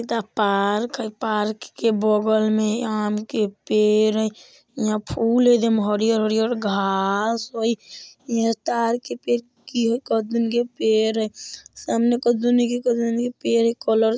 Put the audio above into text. एता पार्क हई पार्क के बगल में आम के पेड़ हई इहां फूल हई एकदम हरियर-हरियर घास हई इहां तार के पेड़ के पेड़ हई सामने के पेड़ हई --